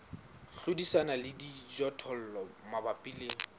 hlodisana le dijothollo mabapi le